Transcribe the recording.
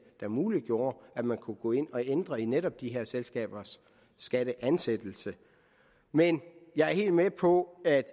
der muliggjorde at man kunne gå ind og ændre i netop de her selskabers skatteansættelse men jeg er helt med på at